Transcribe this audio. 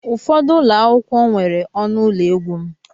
Ụfọdụ ụlọ akwụkwọ nwere ọnụ ụlọ egwu m.